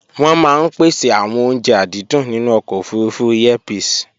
wọ́n maá ń pèsè àwọn oúnje àdídùn nínú ọkọ̀ òfurufú Airpeace